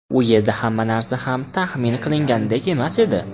U yerda hamma narsa ham taxmin qilinganidek emas edi.